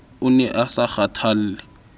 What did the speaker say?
o ne a sa kgathalle